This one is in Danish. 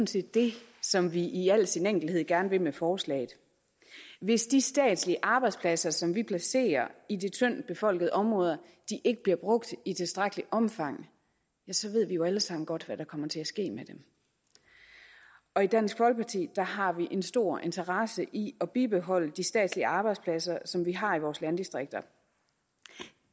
set det som vi i al sin enkelthed gerne vil med forslaget hvis de statslige arbejdspladser som vi placerer i de tyndt befolkede områder ikke bliver brugt i tilstrækkeligt omfang så ved vi jo alle sammen godt hvad der kommer til at ske med dem og i dansk folkeparti har vi en stor interesse i at bibeholde de statslige arbejdspladser som vi har i vores landdistrikter